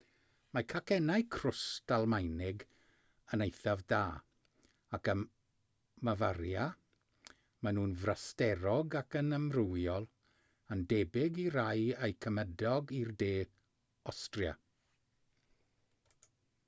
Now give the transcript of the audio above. mae cacennau crwst almaenig yn eithaf da ac ym mafaria maen nhw'n frasterog ac yn amrywiol yn debyg i rai eu cymydog i'r de awstria